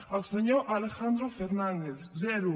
el senyor alejandro fernández zero